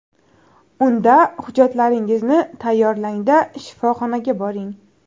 Unda hujjatlaringizni tayyorlang-da, shifoxonaga boring.